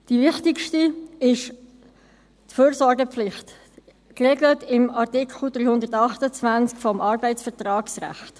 Die wichtigste ist die Fürsorgepflicht, geregelt im Artikel 328 des Arbeitsvertragsrechts.